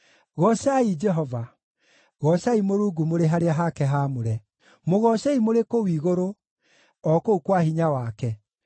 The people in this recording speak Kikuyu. Goocai Jehova. Goocai Mũrungu mũrĩ harĩa hake haamũre; mũgoocei mũrĩ kũu igũrũ, o kũu kwa hinya wake.